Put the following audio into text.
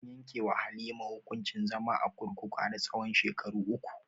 An yanke wa halima hukuncin zama a kurkuku har tsahon shekaru uku